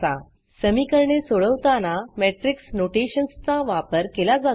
समीकरणे सोडवताना मॅट्रिक्स notationsमेट्रिक्स नोटेशन्स चा वापर केला जातो